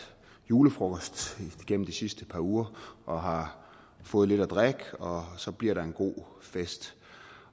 julefrokost de sidste par uger og har fået lidt at drikke og så bliver der en god fest